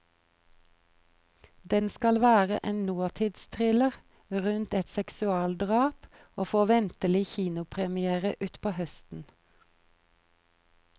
Den skal være en nåtidsthriller rundt et seksualdrap, og får ventelig kinopremière utpå høsten.